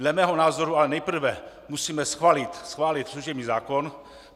Dle mého názoru ale nejprve musíme schválit služební zákon.